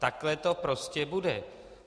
Takhle to prostě bude.